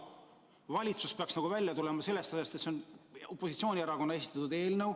Valitsus peaks alla neelama selle asja, et see on opositsioonierakonna esitatud eelnõu.